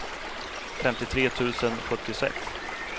femtiotre tusen sjuttiosex